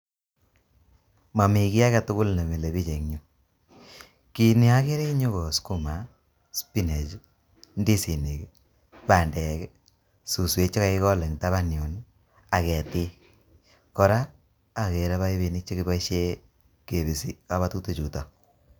Mamii kiy agtugul nemile bich eng yuu. Ki ne akekre eng yu ko sukuma, spinach, ndisinik, bandek, suswek che kakikol eng taban yun, ak ketik. Kora akere paipinik che kiboisie kebisi kabatutik chutok.